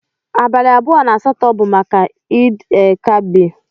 Abali abụọ na asatọ bu maka id el kabir.